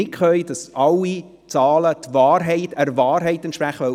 Was wir nicht können: Zahlen liefern, die alle der Wahrheit entsprechen.